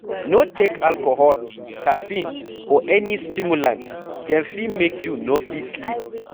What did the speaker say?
No take alcohol, caffeine or any stimulant, dem fit make you no fit sleep